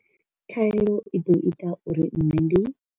Khaelo i ḓo ita uri nṋe ndi.